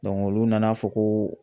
olu nana fɔ ko